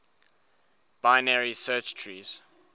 binary search trees